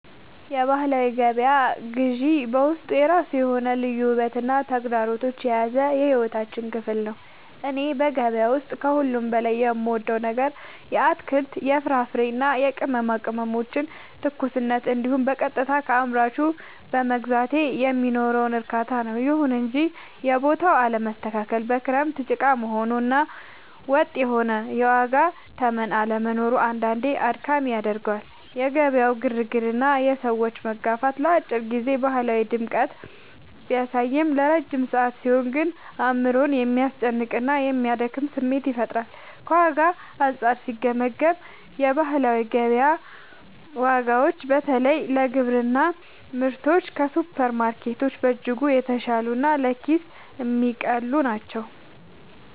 የባህላዊ ገበያ ግዢ በውስጡ የራሱ የሆነ ልዩ ውበትና ተግዳሮት የያዘ የሕይወታችን ክፍል ነው። እኔ በገበያ ውስጥ ከሁሉ በላይ የምወደው ነገር የአትክልት፣ የፍራፍሬና የቅመማ ቅመሞችን ትኩስነት እንዲሁም በቀጥታ ከአምራቹ በመግዛቴ የሚኖረውን እርካታ ነው። ይሁን እንጂ የቦታው አለመስተካከል፣ በክረምት ጭቃ መሆኑ እና ወጥ የሆነ የዋጋ ተመን አለመኖሩ አንዳንዴ አድካሚ ያደርገዋል። የገበያው ግርግርና የሰዎች መጋፋት ለአጭር ጊዜ ባህላዊ ድምቀትን ቢያሳይም፣ ለረጅም ሰዓት ሲሆን ግን አእምሮን የሚያስጨንቅና የሚያደክም ስሜት ይፈጥራል። ከዋጋ አንጻር ሲገመገም፣ የባህላዊ ገበያ ዋጋዎች በተለይ ለግብርና ምርቶች ከሱፐርማርኬቶች በእጅጉ የተሻሉና ለኪስ የሚቀልሉ ናቸው።